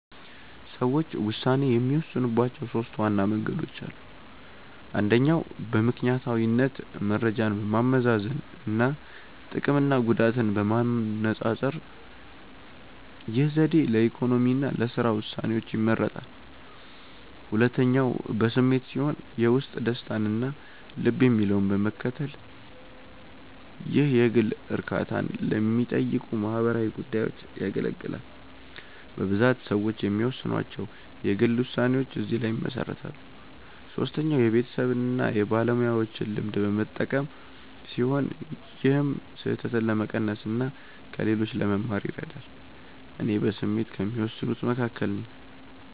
ሰዎች ውሳኔ የሚወስኑባቸው ሦስት ዋና መንገዶች አሉ። አንደኛው በምክንያታዊነት መረጃን በማመዛዘን እና ጥቅምና ጉዳትን በማነፃፀር። ይህ ዘዴ ለኢኮኖሚ እና ለሥራ ውሳኔዎች ይመረጣል። ሁለተኛው በስሜት ሲሆን የውስጥ ደስታን እና ልብ የሚለውን በመከተል። ይህ የግል እርካታን ለሚጠይቁ ማህበራዊ ጉዳዮች ያገለግላል። በብዛት ሰዎች የሚወስኗቸው የግል ውሳኔዎች እዚህ ላይ ይመሰረታሉ። ሶስተኛው የቤተሰብን እና የባለሙያዎችን ልምድ በመጠቀም ሲሆን ይህም ስህተትን ለመቀነስ እና ከሌሎች ለመማር ይረዳል። እኔ በስሜት ከሚወስኑት መካከል ነኝ።